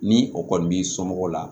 Ni o kɔni b'i somɔgɔw la